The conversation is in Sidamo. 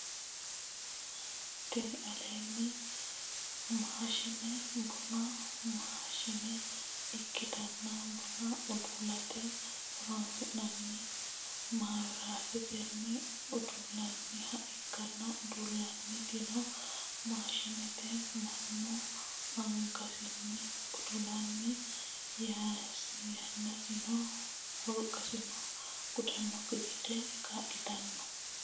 Tini lainnanni maashine bunu maashine ikkitanna buna udu'late horonsi'nanni. Mawiratetenni uddullanniha ikkanna udultannitino maashinete mannu angasinni udulanni yannasino wolqasino gudannokki gede kaa'litanno.